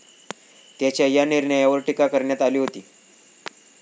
त्याच्या या निर्णयावर टीका करण्यात आली होती.